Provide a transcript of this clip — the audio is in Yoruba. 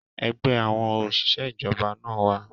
Ẹgbẹ́ àwọn òṣìṣẹ́ ìjọba na wà.